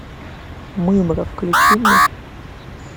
мымра включи мне